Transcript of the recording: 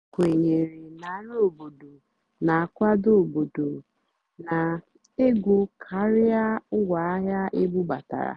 ó kwènyèrè nà nrì óbòdò nà-ákwádó óbòdò nà-égó kàrià ngwáàhịá ébúbátárá.